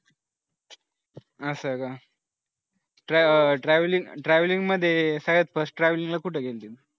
असं का trave trave travelling ला कुठं गेली तू